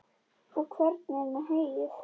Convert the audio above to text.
Og hvernig er með heyið?